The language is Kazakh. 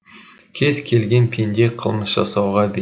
кез келген пенде қылмыс жасауға бейім